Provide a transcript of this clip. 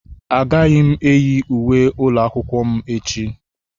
Agaghị m eyi uwe ụlọ akwụkwọ m echi.